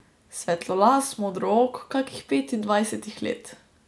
Svetlolas, modrook, kakih petindvajsetih let.